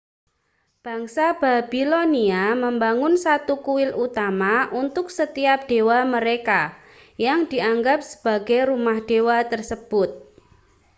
bangsa babilonia membangun satu kuil utama untuk setiap dewa mereka yang dianggap sebagai rumah dewa tersebut